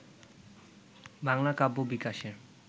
বাংলার কাব্য বিকাশের